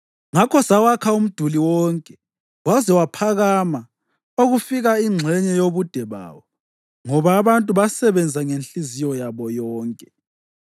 Ngakho sawakha umduli wonke waze waphakama okufika ingxenye yobude bawo, ngoba abantu basebenza ngenhliziyo yabo yonke.